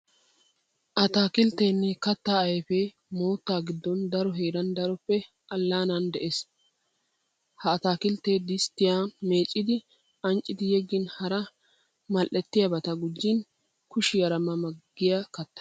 Ataakilttenne kattaa ayfee moottaa giddon daro heran daroppe allaanan des. Ha ataakiltteee disttiyan meecciddi anccidi yeggin hara madhdhettiyabata guccin kishiyaara ma ma giya katta.